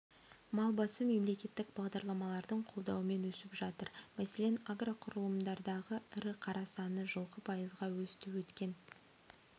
мал басы мемлекеттік бағдарламалардың қолдауымен өсіп жатыр мәселен агроқұрылымдардағы ірі қара саны жылқы пайызға өсті өткен